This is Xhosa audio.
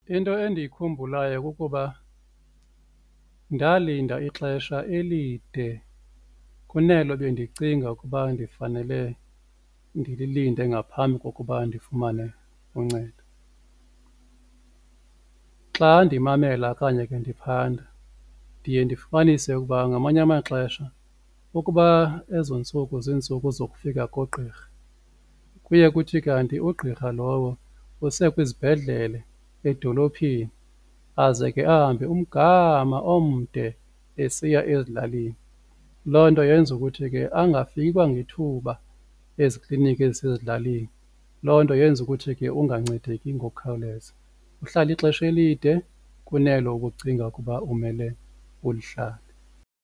Into endiyikhumbulayo kukuba ndalinda ixesha elide kunelo bendicinga ukuba ndifanele ndililinde ngaphambi kokuba ndifumane uncedo. Xa ndimamela okanye ke ndiphanda ndiye ndifumanise ukuba ngamanye amaxesha ukuba ezo ntsuku zintsuku zokufika kogqirha kuye kuthi kanti ugqirha lowo usekwizibhedlele edolophini aze ke ahambe umgama omde esiya ezilalini. Loo nto yenza ukuthi ke angafiki kwangethuba ezikliniki ezisezilalini loo nto yenza ukuthi ke ungancedeki ngokukhawuleza, uhlale ixesha elide kunelo ubucinga ukuba umele ulihlale.